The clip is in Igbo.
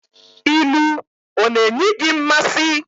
Ilu ọ na-enyi gị mmasị?